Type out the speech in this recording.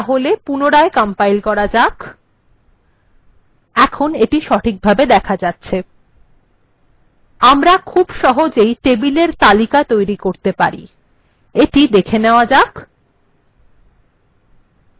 তাহলে পুনরায় কম্পাইল্ করা যাক এখন এটি সঠিকভাবে দেখা যাচ্ছে আমরা খুব সহজেই টেবিল এর তালিকা তৈরী করতে পারি এটি দেখে নেওয়া যাক